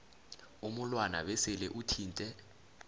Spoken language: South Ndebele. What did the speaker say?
umulwana besele uthinte